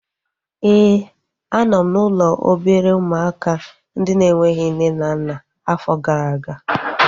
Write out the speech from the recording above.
Éè, a nọ m n'ụlọ obere ụmụaka ndị na-enweghị nne na nna afọ gara aga